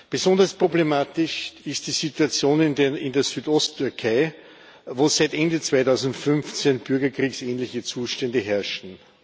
Besonders problematisch ist die Situation in der Südost Türkei, wo seit Ende 2015 bürgerkriegsähnliche Zustände herrschen.